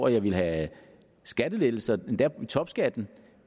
jeg ville have skattelettelser endda i topskatten